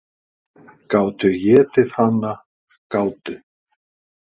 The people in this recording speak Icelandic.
"""Gátu étið hana, gátu."""